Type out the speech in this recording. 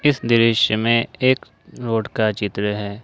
इस दृश्य में एक रोड का चित्र है।